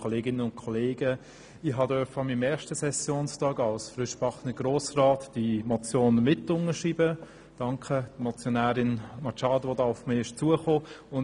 An meinem ersten Sessionstag als frischgebackener Grossrat durfte ich diese Motion mitunterschreiben, und ich danke Grossrätin Machado, dass sie auf mich zugekommen ist.